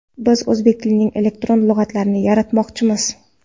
Biz o‘zbek tilining elektron lug‘atlarini yaratmoqchimiz.